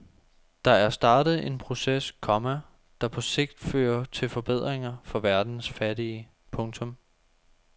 Der er startet en proces, komma der på sigt fører til forbedringer for verdens fattige. punktum